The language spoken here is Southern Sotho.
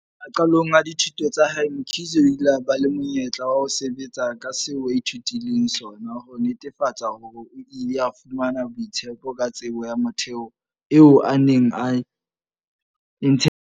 Maqalong a dithuto tsa hae, Mkhize o ile a ba le monyetla wa ho sebetsa ka seo a ithutileng sona, ho netefatsa hore o ile a fumana boitshepo ka tsebo ya motheo eo a neng a e ntshetsa pele.